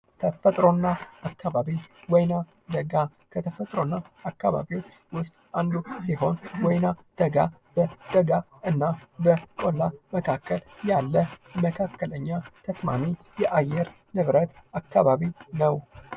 ተፈጥሮ እና አካባቢ ፦ ወይና ደጋ፦ ከተፈጥሮ አካባቢዉስጥ አንዱ ሲሆን ወይና ደጋ በደጋ እና በቁላ መካከል ያለ ተስማሚ የአየር ንብረት ነው።